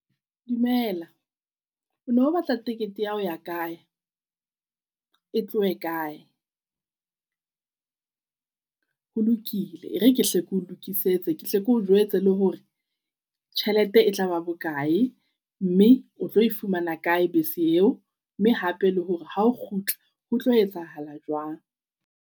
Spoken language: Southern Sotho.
Dumela o no batla ticket ya ho ya kae? E tlohe kae? Ho lokile e re ke hle ke ho lokisetse. Ke hle keo jwetse le hore tjhelete e tla ba bokae, mme o tlo e fumana kae bese eo. Mme hape le hore ha o kgutla ho tlo etsahala jwang.